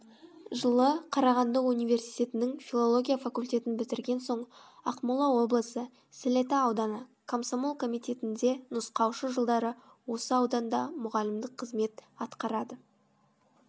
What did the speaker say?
жылы қарағанды университетінің филология факультетін бітірген соң ақмола облысы сілеті ауданы комсомол комитетінде нұсқаушы жылдары осы ауданда мұғалімдік қызмет атқарады